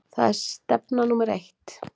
Það er stefna númer eitt.